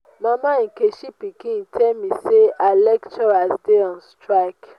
mama nkechi pikin tell me say her lecturers dey on strike